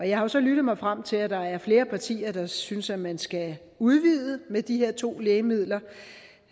jeg har jo så lyttet mig frem til at der er flere partier der synes at man skal udvide det med de her to lægemidler